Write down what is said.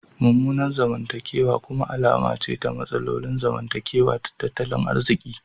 Mummunan zamantakewa kuma alama ce ta matsalolin zamantakewa da tattalin arziki.